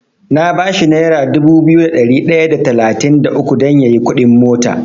Na bashi nera dubu biyu da ɗari ɗaya da talatin da uku dan yayi kuɗin mota.